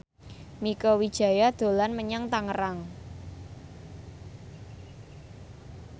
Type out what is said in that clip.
Mieke Wijaya dolan menyang Tangerang